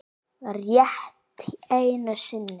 Rétt einu sinni.